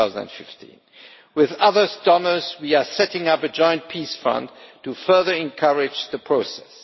2015. With other donors we are setting up a joint peace fund to further encourage the process.